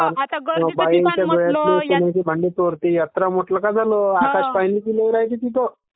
ping सोन्याची माळी चोरती...यात्रा म्हटलं का झालं.....आकाशपाळणी पाह्यल्य का नाही तिथं..